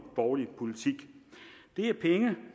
borgerlige politik